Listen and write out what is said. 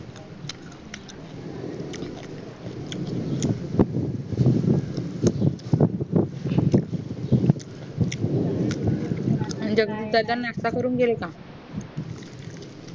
म्हणजे नाष्टा करून गेले का